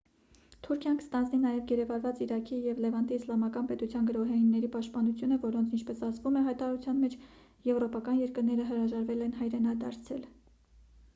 թուրքիան կստանձնի նաև գերեվարված իրաքի և լևանտի իսլամական պետության գրոհայինների պաշտպանությունը որոնց ինչպես ասվում է հայտարարության մեջ եվրոպական երկրները հրաժարվել են հայրենադարձել